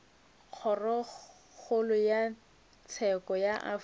kgorokgolo ya tsheko ya afrika